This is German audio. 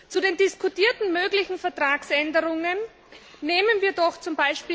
Zu den diskutierten möglichen Vertragsänderungen Nehmen wir doch z.